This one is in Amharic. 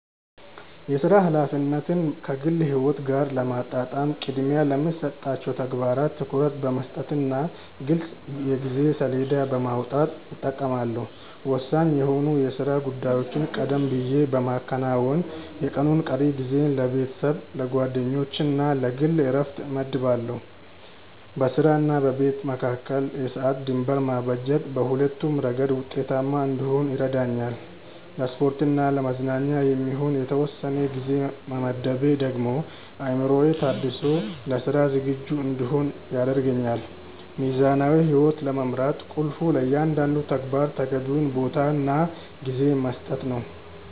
የሥራ ኃላፊነትን ከግል ሕይወት ጋር ለማጣጣም ቅድሚያ ለሚሰጣቸው ተግባራት ትኩረት በመስጠትና ግልጽ የጊዜ ሰሌዳ በማውጣት እጠቀማለሁ። ወሳኝ የሆኑ የሥራ ጉዳዮችን ቀደም ብዬ በማከናወን፣ የቀኑን ቀሪ ጊዜ ለቤተሰብ፣ ለጓደኞችና ለግል ዕረፍት እመድባለሁ። በሥራና በቤት መካከል የሰዓት ድንበር ማበጀት በሁለቱም ረገድ ውጤታማ እንድሆን ይረዳኛል። ለስፖርትና ለመዝናኛ የሚሆን የተወሰነ ጊዜ መመደቤ ደግሞ አእምሮዬ ታድሶ ለሥራ ዝግጁ እንድሆን ያደርገኛል። ሚዛናዊ ሕይወት ለመምራት ቁልፉ ለእያንዳንዱ ተግባር ተገቢውን ቦታና ጊዜ መስጠት ነው።